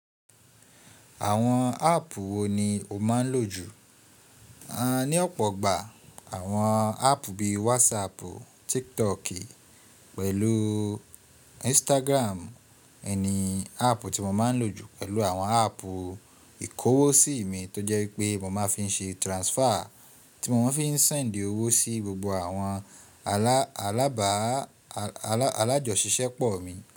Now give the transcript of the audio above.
Àwọn áàpù wo ni o máa ń lò jù? Ni ọ̀pọ̀ ìgbà àwọn áàpù bí i WhatsApp, TikTok pẹ̀lú Instagram ni àpù tí mo máa ń lò jù pẹ̀lú àwọn áàpù ìkówosí mi tó jẹ́ pé mo máa fi ń ṣe transfer, tí mo máa fi ń send owó sí gbogbo àwọn alábàa, alájọṣisẹpọ̀ mi.